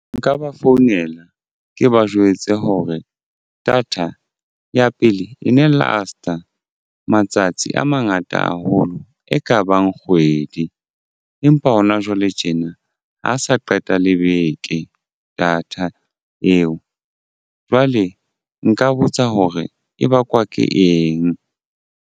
Nka ba founela ke ba jwetse hore data ya pele e ne last-a matsatsi a mangata haholo e kabang kgwedi empa hona jwale tjena ha sa qeta le beke data eo jwale nka botsa hore e bakwa ke eng.